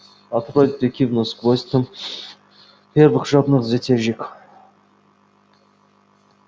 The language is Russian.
от родрик кивнул сквозь дым первых жадных затяжек